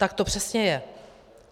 Tak to přesně je.